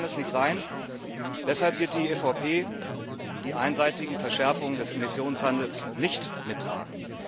Das kann es nicht sein, und deshalb wird die EVP die einseitigen Verschärfungen des Emissionshandels nicht mittragen.